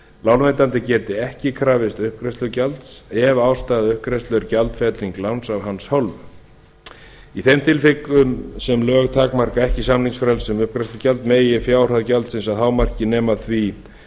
lánveitandi geti ekki krafist uppgreiðslugjalds ef ástæða uppgreiðslu er gjaldfelling láns af hans hálfu í þeim tilvikum sem lög takmarka ekki samningsfrelsi um uppgreiðslugjald megi fjárhæð gjaldsins að hámarki nema því